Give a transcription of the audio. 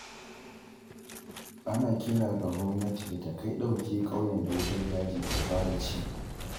Ana kira ga gwamnati da ta kai ɗauki ƙauyen da wutar daji ta fara ci.